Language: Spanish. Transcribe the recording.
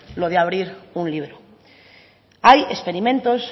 lo de abrir un libro hay experimentos